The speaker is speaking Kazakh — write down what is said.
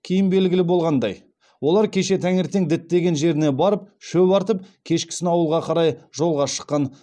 кейін белгілі болғандай олар кеше таңертең діттеген жеріне барып шөп артып кешкісін ауылға қарай жолға шыққан